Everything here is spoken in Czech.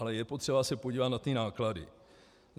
Ale je potřeba se podívat na ty náklady.